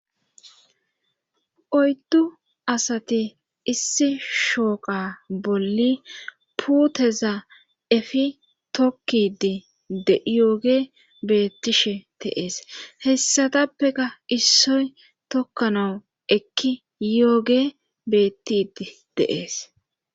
Oyddu asati issi shooqa bolli puuteza efi tokkidi yooge beettishe teees hessatappeka issoy tokkanawu ekki yooge bettidi deees.